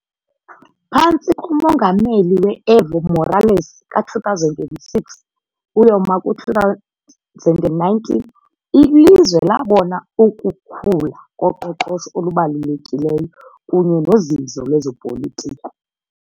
Phantsi komongameli we -Evo Morales ka-2006 uyoma ku2019 ilizwe labona ukukhula koqoqosho olubalulekileyo kunye nozinzo lwezopolitiko.